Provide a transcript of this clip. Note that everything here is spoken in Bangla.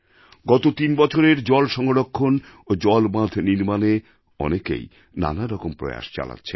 গত তিনবছরে জল সংরক্ষণ ও জলবাঁধ নির্মাণে অনেকেই নানারকম প্রয়াস চালাচ্ছেন